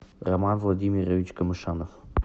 роман владимирович камышанов